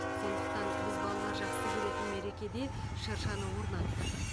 сондықтан біз балалар жақсы көретін мерекеде шыршаны орнаттық